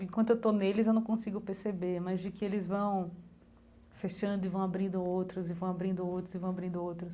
Enquanto eu estou neles, eu não consigo perceber, mas de que eles vão fechando e vão abrindo outros, e vão abrindo outros, e vão abrindo outros.